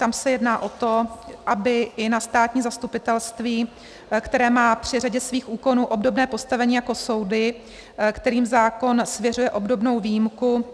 Tam se jedná o to, aby i na státní zastupitelství, které má při řadě svých úkonů obdobné postavení jako soudy, kterým zákon svěřuje obdobnou výjimku,